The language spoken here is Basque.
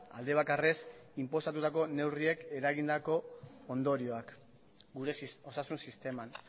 alde bakarrez inposatutako neurriek eragindako ondorioak gure osasun sisteman